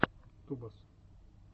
тубас